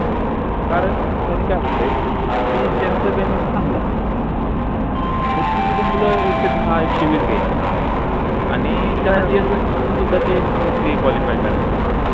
कारण त्यांनी काय होतोय. कि ज्याचं गणित चांगल त्यात्नी तीत मुल एकशे दहा एकशे विस घ्याचे आणि सुद्धा ते free qualify काढायचे